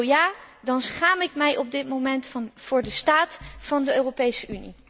Zo ja, dan schaam ik mij op dit moment voor de staat van de Europese Unie.